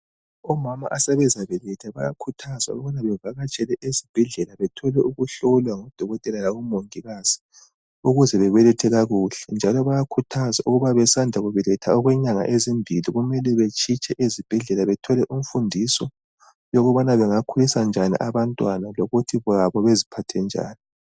Omama asebezabeletha bayakhuthazwa ukubana bevakatshele ezibhedlela bethole ukuhlolwa ngodokotela labomongikazi, ukuze bebelethe kakuhle, njalo bayakhuthazwa ukuba besandakubeletha okwenyanga ezimbili kumele betshitshe ezibhedlela bethole imfundiso, yokubana bengakhulisa kanjani abantwana lokuthi labo beziphathenjani.